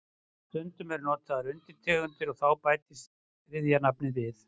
Stundum eru notaðar undirtegundir og þá bætist þriðja nafnið við.